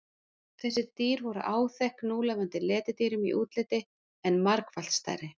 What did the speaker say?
þessi dýr voru áþekk núlifandi letidýrum í útliti en margfalt stærri